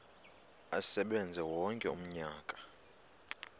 asebenze wonke umnyaka